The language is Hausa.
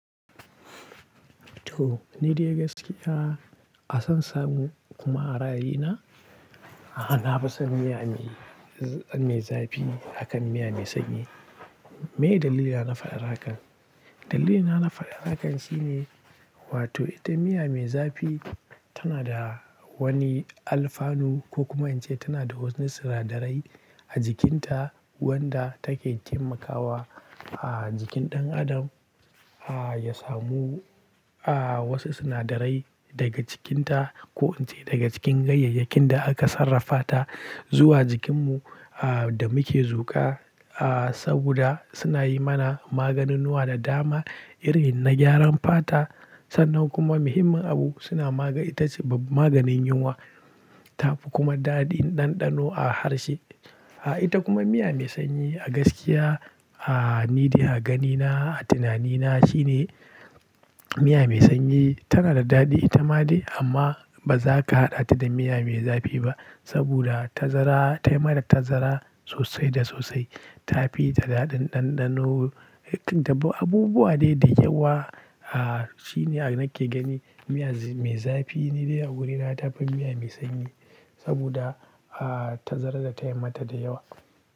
To, ni dai gaskiya a san samu kuma a ra'ayi na, a na fi son miya mai, mai zafi akan miya mai sanyi. Me dalili na faɗan haka? Dalilina na faɗa haka shine, wato ita miya mai zafi tana da wani alfanu ko kuma in ce tana da wasu sinadarai a jikinta wanda take taimakawa a jikin ɗan adam, a ya samu a wasu sinadarai daga cikinta ko in ce daga cikin ganyayyakin da aka sarrafata zuwa jikinmu a da muke zuka. A saboda suna yi mana maganunnuwa da dama irin na gyaran fata sannan kuma muhimmin abu suna maga-- ita ce maganin yunwa. Tafi kuma daɗin ɗanɗano a harshe. A ita kuma miya mai sanyi a gaskiya a nida a ganina a tunanina shine miya mai sanyi tana da daɗi ita ma dai amma ba za ka haɗa ta da miya mai zafi ba saboda tazara, ta yi mata tazara sosai da sosai. Tafi ta daɗin ɗanɗano, ta abu-abubuwa dai da yawa. A shine a nake gani miya mai zafi ni dai a wurina tafi miya mai sanyi saboda a tazara da ta yi mata da yawa.